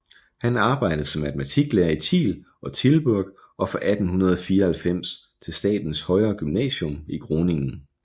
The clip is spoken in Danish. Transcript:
Han arbejdede som matematiklærer i Tiel og Tilburg og fra 1894 til statens højere gymnasium i Groningen